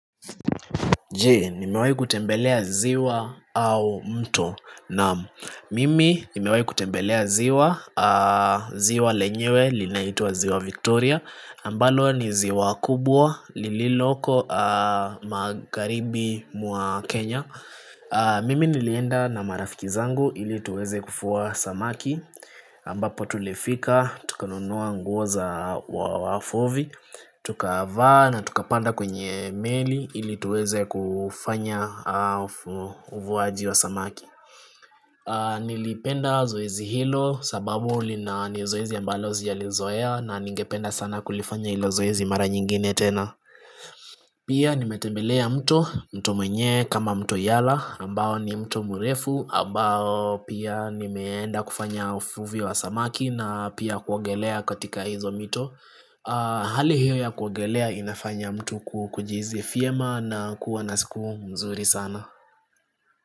Je, nimewahi kutembelea ziwa au mto? Naam, mimi nimewai kutembelea ziwa ziwa lenyewe, linaitwa ziwa Victoria ambalo ni ziwa kubwa, lililoko magharibi mwa Kenya mimi nilienda na marafiki zangu ili tuweze kuvua samaki ambapo tulifika, tukonunua nguo za wavuvi Tukava na tukapanda kwenye meli ili tuweze kufanya uvuaji wa samaki Nilipenda zoezi hilo sababu lina ni zoezi ambalo sijalizoea na ningependa sana kulifanya hilo zoezi mara nyingine tena Pia nimetebelea mto, mto mwenyewe kama mto yala ambao ni mto murefu ambao pia nimeenda kufanya uvuvi wa samaki na pia kuongelea katika hizo mito Hali hiyo ya kuogelea inafanya mtu kujihisi vyema na kuwa na siku mzuri sana.